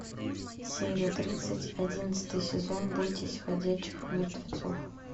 серия тридцать одиннадцатый сезон бойтесь ходячих мертвецов